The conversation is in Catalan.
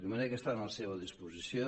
de manera que estan a la seva disposició